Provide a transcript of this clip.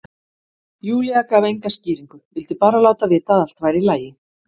Júlía gaf enga skýringu, vildi bara láta vita að allt væri í lagi.